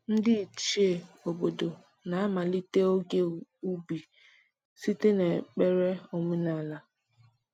Ndị Ichie obodo na-amalite oge ubi site n’ekpere omenala.